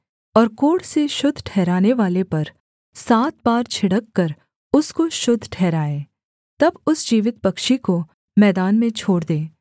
और कोढ़ से शुद्ध ठहरनेवाले पर सात बार छिड़ककर उसको शुद्ध ठहराए तब उस जीवित पक्षी को मैदान में छोड़ दे